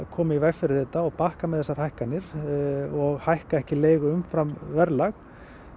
koma í veg fyrir þetta og bakka með þessar hækkanir og hækka ekki leigu umfram verðlag